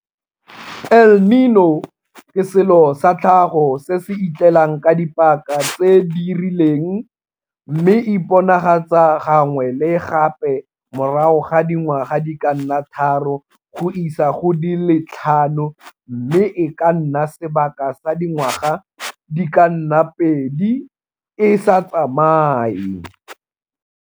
El Niño ke selo sa tlhago se se itlelang ka dipaka tse di rileng mme e iponagatsa gangwe le gape morago ga dingwaga di ka nna tharo go isa go di le tlhano mme e ka nna sebaka sa dingwa ga di ka nna pedi e sa tsamaye.